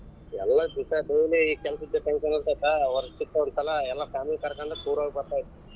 ಎಲ್ಲಾ ದಿವ್ಸ daily ಕೆಲಸದ tension ಒಂದ್ ಸ್ವಲ್ಪ ವರ್ಷಕ್ ಒಂದ್ ಸಲಾ ಎಲ್ಲ family ಕರ್ಕೊಂಡ್ tour ಹೋಗಬೇಕು.